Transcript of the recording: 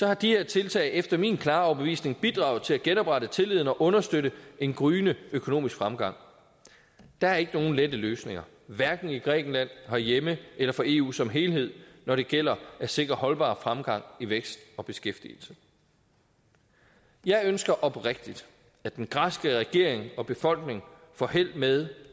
har de her tiltag efter min klare overbevisning bidraget til at genoprette tilliden og understøtte en gryende økonomisk fremgang der er ikke nogen lette løsninger i grækenland herhjemme eller for eu som helhed når det gælder at sikre holdbar fremgang i vækst og beskæftigelse jeg ønsker oprigtigt at den græske regering og befolkning får held med